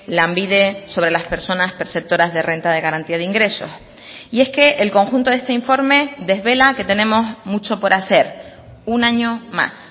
lanbide sobre las personas perceptoras de renta de garantía de ingresos y es que el conjunto de este informe desvela que tenemos mucho por hacer un año más